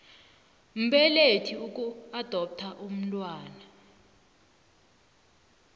mbelethi ukuadoptha umntwana